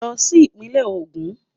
Lọ sí Ìpínlẹ̀ Ògùn